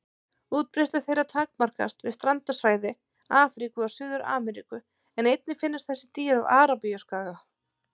Útbreiðslu þeirra takmarkast við strandsvæði Afríku og Suður-Ameríku en einnig finnast þessi dýr á Arabíuskaga.